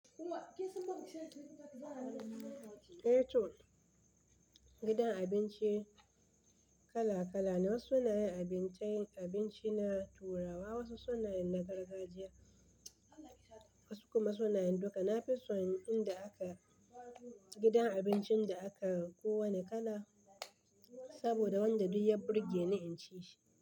Eh to gidan abinci kala kala ne, wasu suna yin abinci na Turawa, wasu suna yin na gargajiya, wasu kuma suna yin duka. Na fi son inda aka gidan abincin da aka ko wane kala, saboda wanda duk ya burge ni in ci shi.